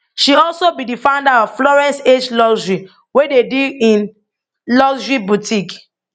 she also be di founder of florence h luxury wey dey deal in luxury boutique